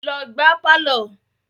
Lọ gbá á pálọ̀!